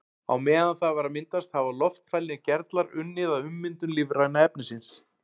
Á meðan það var að myndast hafa loftfælnir gerlar unnið að ummyndun lífræna efnisins.